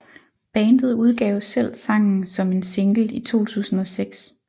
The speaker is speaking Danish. Bandet udgav selv sangen som en single i 2006